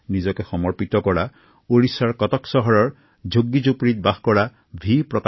শ্ৰীমান ড০ প্ৰকাশ ৰাও আছিল কটক চহৰৰ এগৰাকী চাহ ব্যৱসায়ী